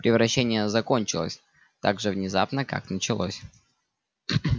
превращение закончилось так же внезапно как началось